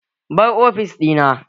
Bar ofis ɗina!